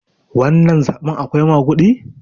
wannan zaɓen akwai magudi?